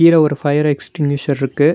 கீழ ஒரு fire extinguisher இருக்கு.